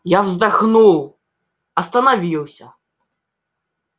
я вздохнул остановился